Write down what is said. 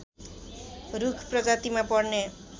रूख प्रजातिमा पर्ने